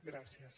gràcies